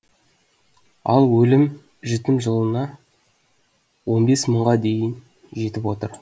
ал өлім жітім жылына он бес мыңға дейін жетіп отыр